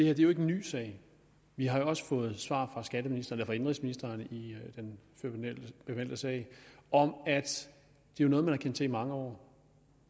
er jo ikke en ny sag vi har også fået svar fra indenrigsministeren i den bemeldte sag om at det var noget man havde kendt til i mange år